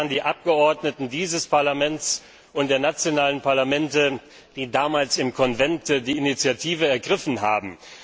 Es waren die Abgeordneten dieses Parlaments und der nationalen Parlamente, die damals im Konvent die Initiative ergriffen haben.